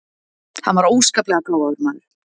Hann var óskaplega gáfaður maður.